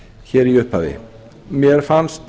hér í upphafi mér fannst